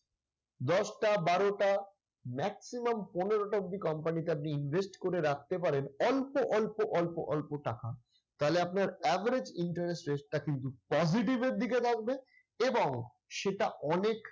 দশটা, বারোটা maximum পনেরোটা অবধি company তে আপনি invest করে রাখতে পারেন। অল্প অল্প অল্প অল্প টাকা। তাহলে আপনার average interest rate টা কিন্তু positive এর দিকে থাকবে এবং সেটা অনেক